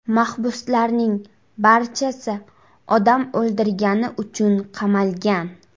Mahbuslarning barchasi odam o‘ldirgani uchun qamalgan.